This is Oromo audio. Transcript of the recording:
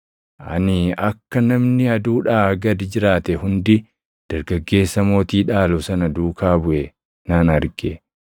Ani akka namni aduudhaa gad jiraate hundi dargaggeessa mootii dhaalu sana duukaa buʼe nan arge.